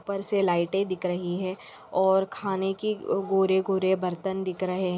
उप्पर से लाइटें दिख रहीं हैं और खाने की गोरे गोरे बर्तन दिख रहे है।